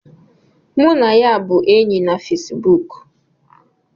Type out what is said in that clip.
Mụ na ya bụ enyi na Fesibuk